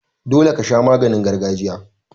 Dole kasha maganin gargajiya.